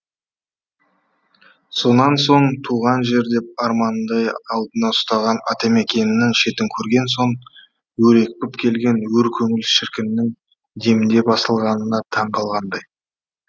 сонан соң туған жер деп арманындай алдына ұстаған атамекенінің шетін көрген соң өрекпіп келген өр көңіл шіркіннің демде басылғанына таңқалғандай